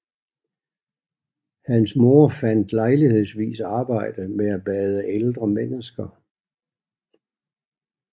Hans mor fandt lejlighedsvis arbejde med at bade ældre mennesker